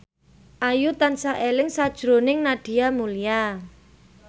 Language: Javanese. Ayu tansah eling sakjroning Nadia Mulya